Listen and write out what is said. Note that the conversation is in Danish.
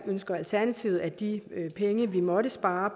ønsker alternativet at de penge man måtte spare